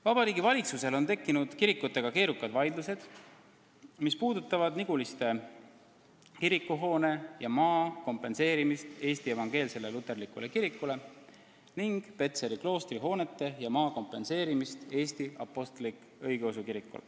Vabariigi Valitsusel on tekkinud kirikutega keerukad vaidlused, mis puudutavad Niguliste kiriku hoone ja maa kompenseerimist Eesti Evangeelsele Luterlikule Kirikule ning Petseri kloostri hoonete ja maa kompenseerimist, mida ootab Eesti Apostlik-Õigeusu Kirik.